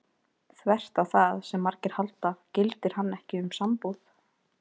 Þvert á það sem margir halda gildir hann ekki um sambúð.